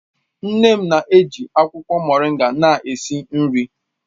Nne m ji akwụkwọ moringa na-esi nri